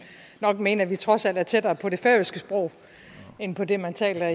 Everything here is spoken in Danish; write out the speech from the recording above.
nok mene at vi trods alt er tættere på det færøske sprog end på det man taler